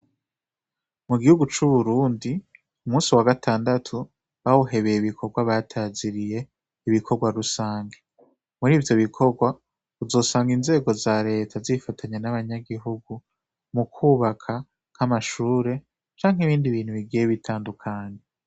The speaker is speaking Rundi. Mugihugu c'Uburundi umusi wa gatandatu bawuhebeye ibikogwa bataziriye ibikogwarusangi murivyo bikogwa uzosanga inzego za reta zifatanye n' abanyagihugu mukwubaka nk'amashure canke ibindi bintu bigiye bitandukanye.